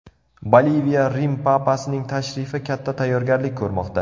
Boliviya Rim papasining tashrifi katta tayyorgarlik ko‘rmoqda.